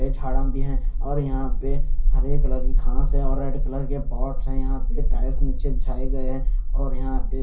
हरे झाड़ा भी है और यहाँ पे हरी हरी घास है और रेड कलर के पॉट्स हैं यहाँ पे टाइल्स यह अपे बिछाए गये है और यहाँ पे --